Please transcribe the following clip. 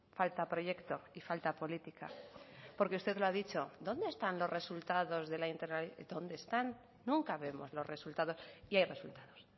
falta proyecto y falta política porque usted lo ha dicho dónde están los resultados de la dónde están nunca vemos los resultados y hay resultados